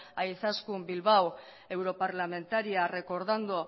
a izaskun bilbao europarlamentaria recordando